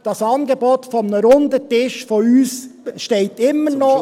Unser Angebot für einen runden Tisch steht immer noch.